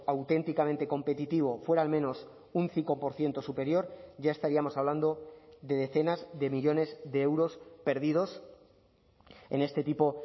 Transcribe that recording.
auténticamente competitivo fuera al menos un cinco por ciento superior ya estaríamos hablando de decenas de millónes de euros perdidos en este tipo